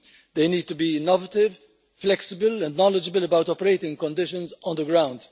They need to be innovative, flexible and knowledgeable about operating conditions on the ground.